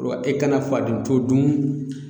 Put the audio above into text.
E kana fadento dun